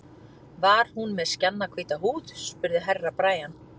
Var hún með skjannahvíta húð, spurði Herra Brian.